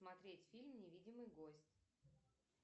смотреть фильм невидимый гость